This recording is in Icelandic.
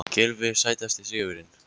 Gylfi Sætasti sigurinn?